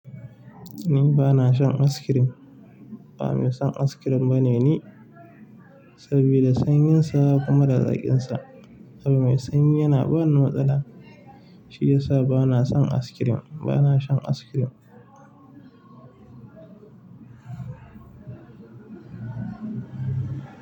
Ni bana shan askirim. Ba mai son askirim bane ni sabida sanyinsa kuma da zaƙinsa. Abin mai sanyi yana bani matsala, shi yasa bana son askirim, bana shan askirim.